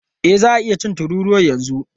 E, za a iya cin tururuwan yanzu.